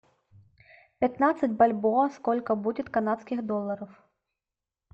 пятнадцать бальбоа сколько будет канадских долларов